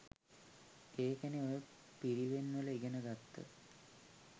ඒකනෙ ඔය පිරිවෙන් වල ඉගෙන ගත්ත